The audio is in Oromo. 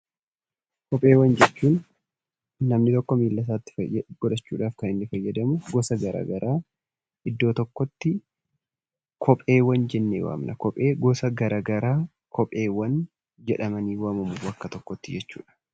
Kopheewwan jechuun namni tokko miilla isaatti godhachuu dhaaf kan inni fayyadamu gosa garaa garaa iddoo tokkotti 'Kopheewwan' jennee waamna. Kophee gosa garaa garaa 'Kopheewwan' jedhamanii waamamu bakka tokko tti.